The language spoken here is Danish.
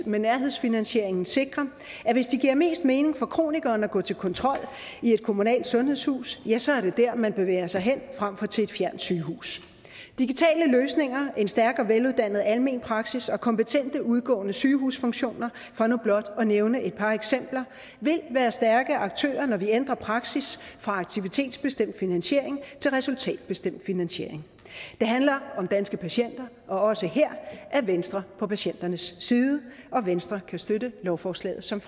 med nærhedsfinansieringen sikrer at hvis det giver mest mening for kronikeren at gå til kontrol i et kommunalt sundhedshus ja så er det der man bevæger sig hen frem for til et fjernt sygehus digitale løsninger en stærk og veluddannet almen praksis og kompetente udgående sygehusfunktioner for nu blot at nævne et par eksempler vil være stærke aktører når vi ændrer praksis fra aktivitetsbestemt finansiering til resultatbestemt finansiering det handler om danske patienter og også her er venstre på patienternes side venstre kan støtte lovforslaget som